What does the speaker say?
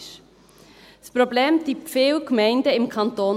Dieses Problem beschäftigt viele Gemeinden im Kanton.